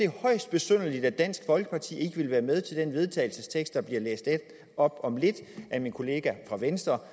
højst besynderligt at dansk folkeparti ikke vil være med til den vedtagelse der bliver læst op om lidt af min kollega fra venstre